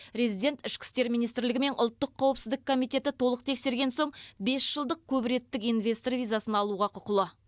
резидент ішкі істер министрлігі мен ұлттық қауіпсіздік комитеті толық тексерген соң бес жылдық көпреттік инвестор визасын алуға құқылы